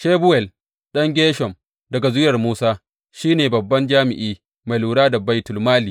Shebuwel ɗan Gershom, daga zuriyar Musa, shi ne babban jami’i mai lura da baitulmali.